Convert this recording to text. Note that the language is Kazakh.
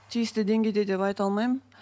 тиісті деңгейде деп айта алмаймын